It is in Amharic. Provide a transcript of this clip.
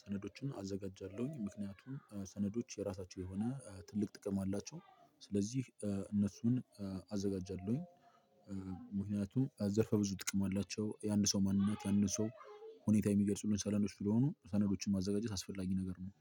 ሰነዶችን አዘጋጃለሁኝ ምክንያቱም ሰነዶች የራሳቸው የሆነ ትልቅ ጥቅም አላቸው። ስለዚህ እነሱን አዘጋጃለሁኝ። ዘርፈ ብዙ ጥቅም አላቸው የአንድን ሰው ማንነት የአንድን ሰው ሁኔታ የሚገልጹልን ሰነዶች ስለሆኑ ሰነዶችን ማዘጋጀት አስፈላጊ ነገር ነው።